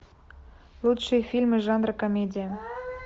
лучшие фильмы жанра комедия